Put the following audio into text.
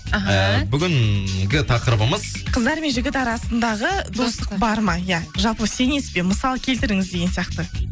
іхі ііі бүгінгі тақырбымыз қыздар мен жігіт арасындағы достық бар ма иә жалпы сенесіз бе мысал келтіріңіз деген сияқты